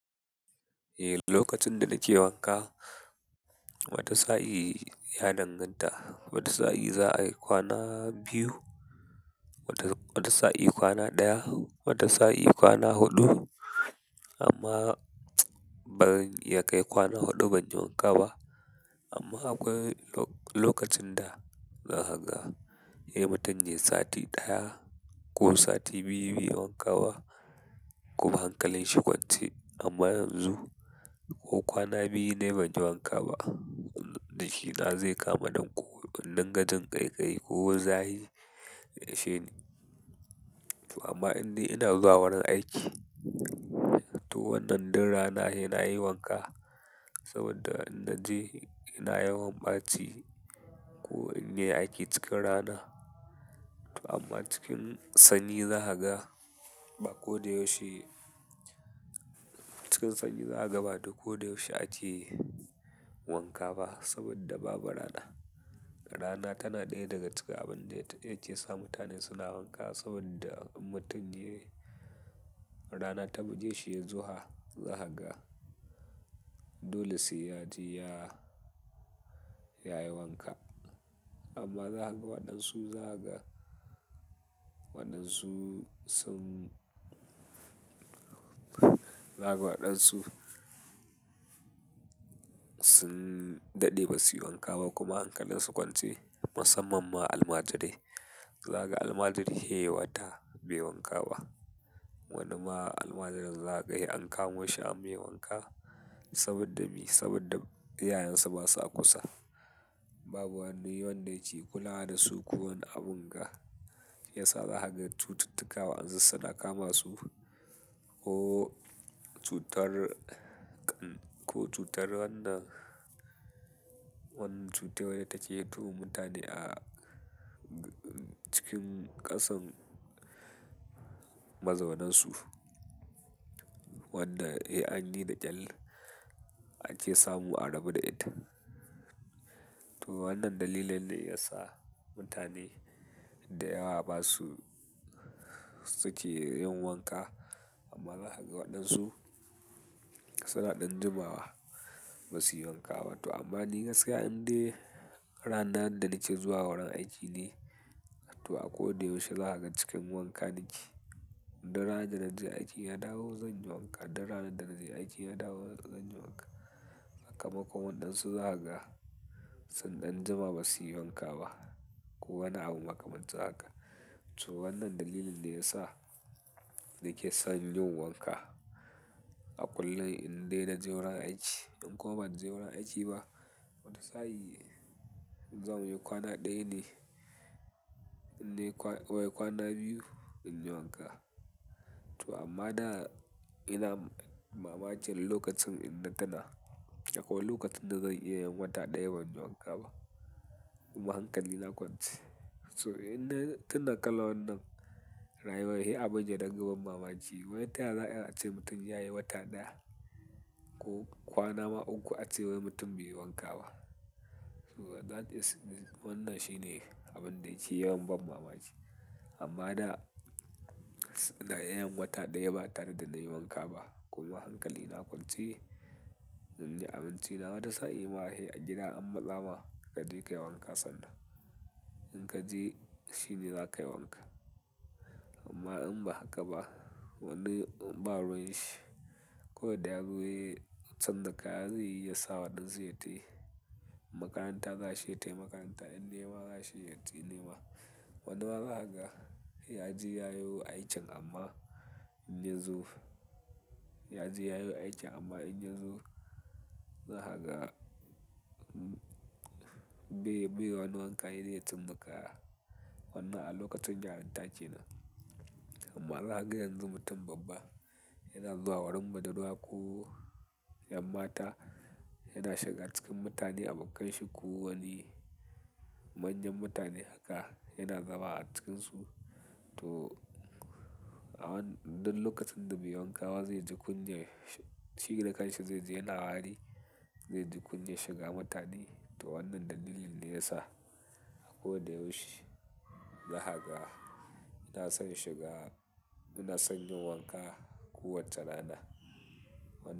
Eh, lokacin da nake wanka wata sa'i ya danganta. Wata sa'i za a yi kwana biyu, wata sa'i kwana ɗaya, wata sa'i kwana huɗu amma baran iya kai kwana huɗu ban yi wanka ba. Amma akwai lokacin da zakaga he mutun yayi sati daya ko sati biyu be yi wanka ba kuma hankalin shi kwance amma yanzu ko kwana biyu ne ban yi wanka ba, nashi na zai kama ɗan ko in dinga jin ƙaiƙayi ko za hi ya ishe ni. To amma inda ina zuwa wurin aiki, to wannan dun rana he na yi wanka saboda in naji ina yawan ɓaci ko inna yi aiki cikin rana. To amma cikin sanyi zahaga ba ko da yaushe cikin sanyi zahaga ba da ko da yaushe ake wanka ba saboda babu rana. Rana tana daya daga cikin abunda ya kesa mutane suna wanka saboda in mutun yayi rana ta bugeshi yayi zuha zaka ga dole se yaje ya yayi wanka amma zahaga waɗansu zahaga waɗansu sun, zahaga wadansu sun dade basuyi wanka ba kuma hankalin kwance musammam ma almajirai zahaga almajiri se yayi wata beyi wanka ba wani ma almajirin zahaga se an kamo shi ammai wanka saboda be Sabodda iyayensa ba sa kusa. Babu wani wanda yake kula da su ko wani abun ga ya sa zahaga cututtuka wa'ansu suna kama su ko cutar ƙan ko cutar wannan wanan cutar wadda take hito wa mutane a cikin ƙasan mazaunansu, wanda he an yi da ƙel ake samu a rabu da ita. To wannan dalilin ne ya sa mutane da yawa ba su suke yin wanka. Amma zahaga waɗansu suna ɗan jimawa ba su yi wanka ba. To amma ni gaskiya inde ranan da nake zuwa wurin aiki ne, to a ko da yaushe zahaga cikin wanka nike. Du ranan da naje aiki na dawo zan yi wanka, du ranan da naje aiki na dawo zan yi wanka. Saka Makon waɗansu zahaga sun ɗan jima ba su yi wanka ba ko wani abu makamancin haka. So wannan dalilin ne ya sa nake son yin wanka a kullun inde naje wurin aiki. In koma ban je wurin aiki ba, wata sa'i zan yi kwana ɗaya ne, inayi kwana wai kwana biyu in yi wanka. To amma da ina mamakin lokacin inna tuna akwai lokacin zan iya yin wata daya ban yi wanka ba kuma hankalina kwance to ina tuna kalan wannan rayuwai he abin da dingan ban mamaki. Wai ta ya za'a iya ace mutum ya yi wata ɗaya ko kwana ma uku ace wai mutum bai yi wanka ba? To that is wannan shine abun da yake yawan ban mamaci. Amma da ina iyayin wata ɗaya ba tare da na yi wanka ba kuma hankali na kwance, inyi abinci na wata sa'i ma he agida ammatsama ka je ka yi wanka sannan in ka je shi ne za ka yi wanka. Amma in ba haka ba wani ba ruwan shi ko da yazo he ya canza kaya zeyi ya sa waɗansu ya tai in makaranta za shi ya tai makaranta in nema za shi ya tai nema. Wani ma zahaga yaji ya yo aikin amma in yazo yaji ya yo aikin amma in yazo zahaga bai, bai wani wanka he de ya canza kaya wannan a lokacin yarinta kenan. Amma zahaga yanzu mutum babba yana zuwa wurin budurwa ko ƴan mata yana shiga cikin mutane a bakanshi ko wani manyan mutane haka yana zama a cikinsu. To a wannan lokacin da beyi wanka ba zai ji kunyan shi da kanshi zai ji yana wari, zai ji kunyan shiga mutane. To wannan dalilin ne yasa ko da yaushe zahaga ina son shiga ina son yin wanka ko wace rana wan.